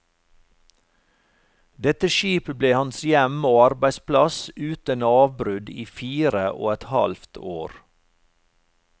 Dette skip ble hans hjem og arbeidsplass uten avbrudd i fire og et halvt år.